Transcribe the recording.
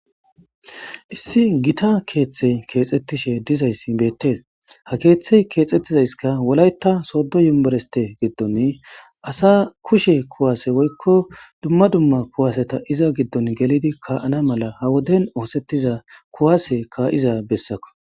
issi gita keeththe keexxettishe dizayssi bettee ha keeththey keexxettizayska wolayta soddo yumereste giddon asa kushe kuwaase woykko dumma dumma kuwaseta iza giddon gelidi kaana mala ha woden oosettiza kuwaseka iza bessako